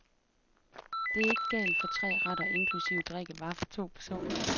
Det er ikke galt for tre retter inklusive drikkevarer for to personer.